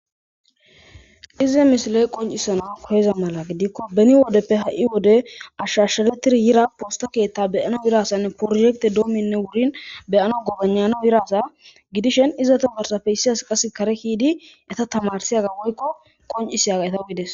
Ize misiley qoncisana koheza mala gidikko beni wodeppe ha'i wode ashshashsharetir yira poosta keetta beyana birasanne prohekte doominne wurin beyana gobanyana biraasa gidishen izata barsafeyssias qas kare hiidi eta tamarsiyaga woykko qoncisiyaga eta gides.